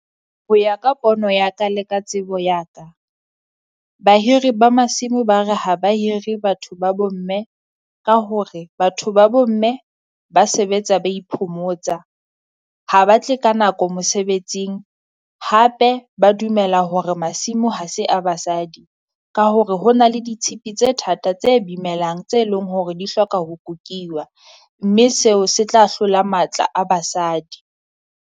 Ho ya ka pono ya ka, le ka tsebo ya ka, bahiri ba masimo ba re ha ba hire batho ba bo mme ka hore, batho ba bo mme ba sebetsa ba iphomotsa. Ha ha ba tle ka nako mosebetsing hape ba dumela hore masimo ha se a basadi. Ka hore ho na le ditshipi tse thata tse bimelang tse leng hore di hloka ho kukiwa, mme seo se tla hlola matla a basadi.